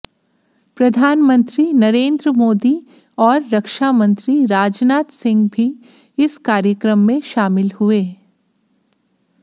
प्रधानमंत्री नरेन्द्र मोदी और रक्षामंत्री राजनाथ सिंह भी इस कार्यक्रम में शामिल हुए